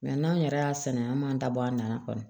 Mɛ n'an yɛrɛ y'a sɛnɛ an m'an da bɔ a nana kɔni